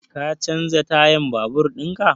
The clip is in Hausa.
Ka canza tayan babur in ka?